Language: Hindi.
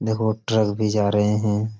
देखो ट्रक भी जा रहे हैं।